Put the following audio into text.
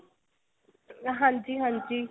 ਹਾਂਜੀ ਹਾਂਜੀ